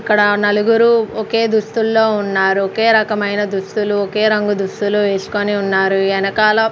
ఇక్కడ ఆ నలుగురు ఒకే దుస్తుల్లో ఉన్నారు ఒకే రకమైన దుస్తులు ఒకే రంగు దుస్తులు ఏసుకొని ఉన్నారు ఎనకాల--